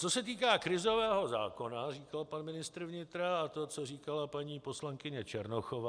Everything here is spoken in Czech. Co se týká krizového zákona, říkal pan ministr vnitra a to, co říkala paní poslankyně Černochová.